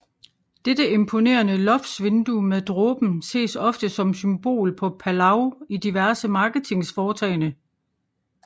Dette imponerende loftsvindue med dråben ses ofte som symbol for Palau i diverse marketingsforetagende